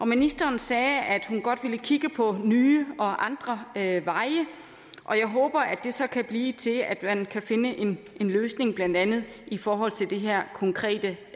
ministeren sagde at hun godt ville kigge på nye og andre veje og jeg håber at det så kan blive til at man kan finde en løsning blandt andet i forhold til det her konkrete